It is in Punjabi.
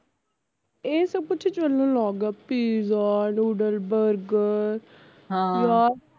ਇਹ ਸਬ ਕੁਛ ਚਲਣ ਲੱਗ ਗਿਆ ਪੀਜ਼ਾ ਨੂਡਲ ਬਰਗਰ ਯਾਰ